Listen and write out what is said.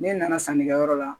Ne nana sanni kɛyɔrɔ la